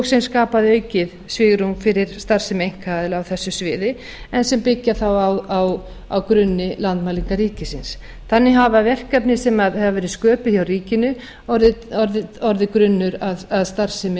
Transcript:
sem skapaði aukið svigrúm fyrir starfsemi einkaaðila á þessu sviði en sem byggja þá á grunni landmælinga ríkisins þannig hafa verkefni sem hafa verið sköpuð hjá ríkinu orðið grunnur að starfsemi